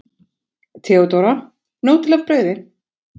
THEODÓRA: Nóg til af brauði!